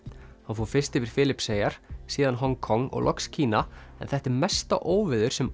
hann fór fyrst yfir Filippseyjar síðan Hong Kong og loks Kína en þetta er mesta óveður sem